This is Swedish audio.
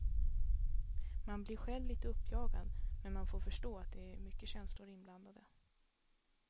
Man blir själv lite uppjagad, men man får förstå att det är mycket känslor inblandade.